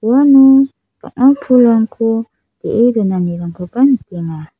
uano bang·a pulrangko ge·e donanirangkoba nikenga.